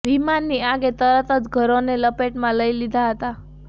વિમાનની આગે તરત જ ઘરોને લપેટમાં લઈ લીધા હતા